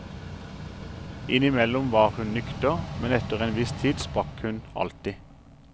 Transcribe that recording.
Innimellom var hun nykter, men etter en viss tid sprakk hun alltid.